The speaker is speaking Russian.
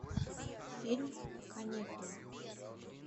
фильм каникулы